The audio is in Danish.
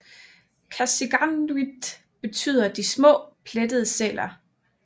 Qasigiannguit betyder de små plettede sæler